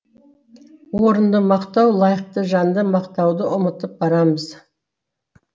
орынды мақтау лайықты жанды мақтауды ұмытып барамыз